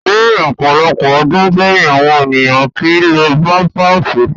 Ni ọpọlọpọ ọdun sẹyin, awọn eniyan kii lo pampạsi